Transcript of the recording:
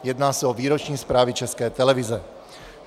Jedná se o výroční zprávy České televize.